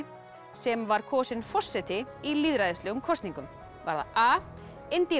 sem var kosin forseti í lýðræðislegum kosningum var það a